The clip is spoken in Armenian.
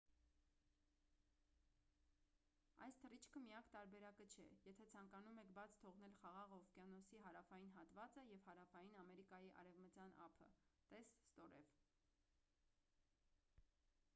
այս թռիչքը միակ տարբերակը չէ եթե ցանկանում եք բաց թողնել խաղաղ օվկիանոսի հարավային հատվածը և հարավային ամերիկայի արևտյան ափը: տես ստորև